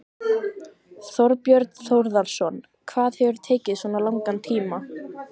Þorbjörn Þórðarson: Hvað hefur tekið svona langan tíma?